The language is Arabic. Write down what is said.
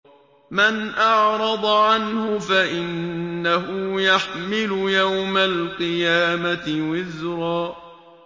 مَّنْ أَعْرَضَ عَنْهُ فَإِنَّهُ يَحْمِلُ يَوْمَ الْقِيَامَةِ وِزْرًا